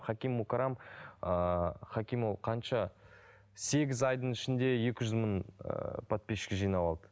хаким мукарам ыыы хаким ол қанша сегіз айдың ішінде екі жүз мың ыыы подписчик жинап алды